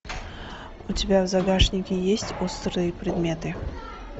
у тебя в загашнике есть острые предметы